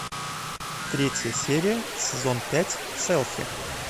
третья серия сезон пять селфи